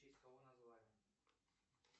в честь кого назвали